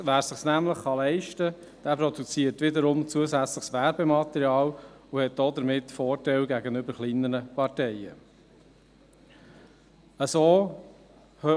– Wer es sich nämlich leisten kann, produziert wiederum zusätzliches Werbematerial und hat damit gegenüber kleineren Parteien einen Vorteil.